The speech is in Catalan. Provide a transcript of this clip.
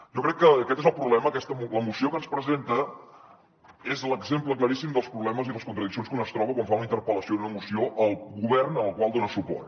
jo crec que aquest és el problema la moció que ens presenta és l’exemple claríssim dels problemes i les contradiccions que un es troba quan fa una interpel·lació i una moció al govern al qual dona suport